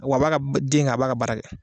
Wa b'a ka den kɛ a b'a ka baara kɛ.